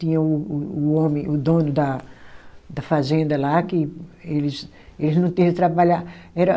Tinha o o o homem, o dono da da fazenda lá, que eles eles não teve trabalhar. Era